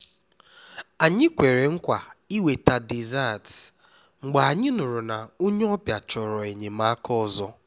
anyị kwere nkwa iweta desserts mgbe anyị nụrụ na onye ọbịa chọrọ enyemaka ọzọ